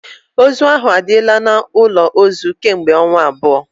Ozu ahụ adịla n'ụlọ ozu kemgbe ọnwa abụọ